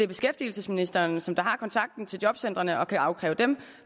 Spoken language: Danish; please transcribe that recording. beskæftigelsesministeren som har kontakten til jobcentrene og kan afkræve dem